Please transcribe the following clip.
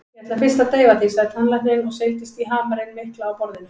Ég ætla fyrst að deyfa þig, sagði tannlæknirinn og seildist í hamarinn mikla á borðinu.